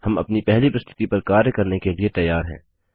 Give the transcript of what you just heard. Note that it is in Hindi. हम अपनी पहली प्रस्तुति पर कार्य करने के लिए तैयार हैं